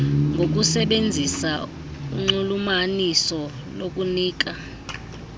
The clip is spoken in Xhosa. ngokusebenzisa unxulumaniso lokunika